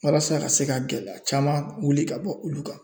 Walasa ka se ka gɛlɛya caman wuli ka bɔ olu kan